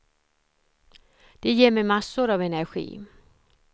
Det ger mig massor av energi.